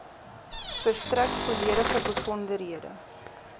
verstrek volledige besonderhede